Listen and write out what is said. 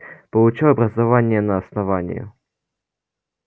получил образование на основании